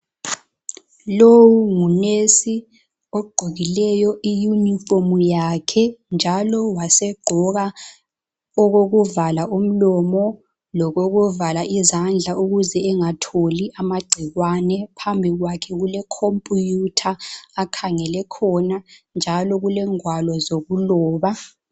Lowu nguNesi ogqokileyo iYunifomu yakhe njalo wasegqoka okokuvala umlomo lokokuvala izandla ukuze engatholi amagcikwane, phambikwakhe kule Computer akhangele khona njalo kulengwalo zokuloba.